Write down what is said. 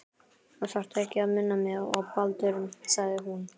Þú þarft ekki að minna mig á Baldur- sagði hún.